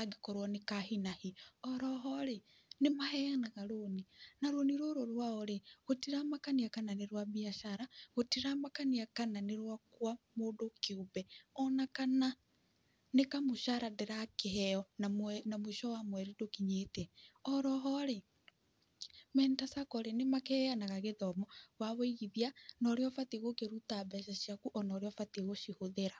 angĩkorwo nĩ ka hi na hi. Oroho-rĩ nĩmaheanaga rũni, na rũni rũrũ rwao-rĩ gũtiramakania kana nĩ rwa mbiacara, gũtiramakania kana nĩ rwakwa mũndũ kĩumbe ona kana nĩ kamũcara ndĩrakĩheo na mũico wa mweri ndũkinyĩte. Oroho-rĩ Mentor Sacco -rĩ nĩmakĩheanaga gĩthomo wa wũigithia, na ũrĩa ũbatiĩ gũkĩruta mbeca ciaku ona ũrĩa ubatiĩ gucihũthĩra.